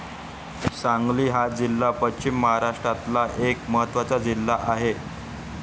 सांगली हा जिल्हा पश्चिम महाराष्ट्रातला एक महत्वाचा जिल्हा आहे.